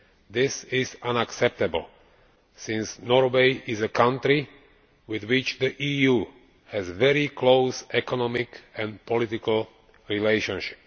This is unacceptable, since Norway is a country with which the EU has very close economic and political relations.